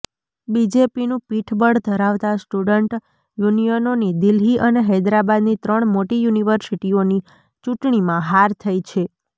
બીજેપીનું પીઠબળ ધરાવતા સ્ટુડન્ટ યુનિયનોની દિલ્હી અને હૈદરાબાદની ત્રણ મોટી યુનિવર્સિટીઓની ચૂંટણીમાં હાર થઈ છે